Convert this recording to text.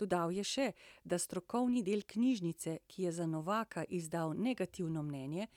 Dodal je še, da strokovni del knjižnice, ki je za Novaka izdal negativno mnenje,